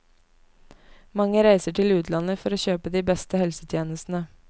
Mange reiser til utlandet for å kjøpe de beste helsetjenestene.